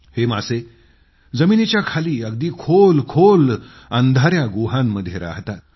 हे मासे जमिनीच्या खाली अगदी खोलखोल अंधाया गुहांमध्ये राहतात